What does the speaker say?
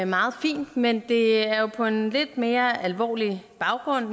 meget fint men det er jo sket på en lidt mere alvorlig baggrund